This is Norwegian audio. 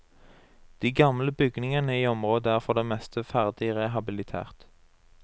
De gamle bygningene i området er for det meste ferdig rehabilitert.